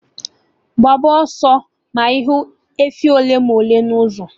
Gbaakwa ọsọ ma ịhụ efi ole ma ole n'ụzọ